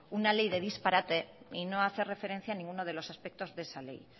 una ley de disparate y no hace referencia a ninguno de los aspectos de esa ley